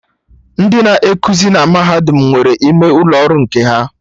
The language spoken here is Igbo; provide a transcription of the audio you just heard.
Ndị na ekuzi na Mahadum nwere ime ụlọ ọrụ nke ha